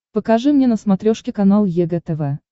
покажи мне на смотрешке канал егэ тв